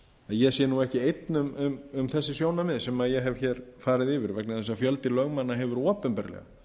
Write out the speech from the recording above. ég sé ekki einn um þessi sjónarmið sem ég ef farið yfir vegna þess að fjöldi lögmanna hefur opinberlega